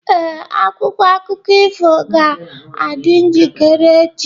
Ee, akwụkwọ akụkọ ifo ga-adị njikere echi.